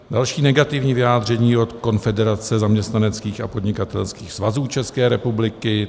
Další negativní vyjádření od Konfederace zaměstnaneckých a podnikatelských svazů České republiky.